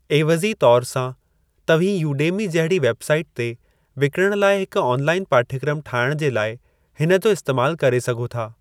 ऐवज़ी तौरु सां, तव्हीं यूडेमी जहिड़ी वेबसाइट ते विकणणु लाइ हिकु ऑनलाइन पाठ्यक्रमु ठाहिणु जे लाइ हिन जो इस्तैमालु करे सघो था।